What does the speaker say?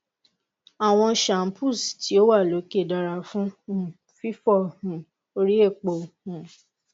awọn shampoos ti o wa loke dara fun um fifọ um ori epo um